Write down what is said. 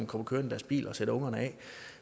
kommer kørende i deres biler og sætter ungerne af